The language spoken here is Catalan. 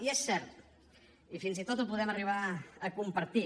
i és cert i fins i tot ho podem arribar a compartir